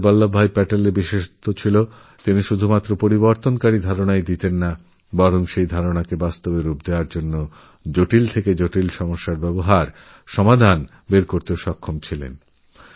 সর্দার বল্লভভাইপ্যাটেলের বৈশিষ্ট্য ছিল তিনি শুধু পরিবর্তনের সিদ্ধান্তই নিতেন না জটিল থেকেজটিলতর সমস্যার সমাধান করার কার্যকরী উপায় খুঁজে বের করতেও সমর্থ ছিলেন